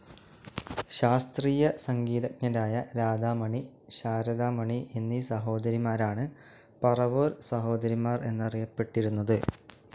ശാസ്ത്രീയ സംഗീതജ്ഞരായ രാധാമണി, ശാരദാമണി എന്നീ സഹോദരിമാരാണ് പറവൂർ സഹോദരിമാർ എന്നറിയപ്പെട്ടിരുന്നത്.